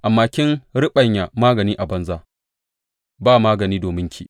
Amma kin riɓanya magani a banza; ba magani dominki.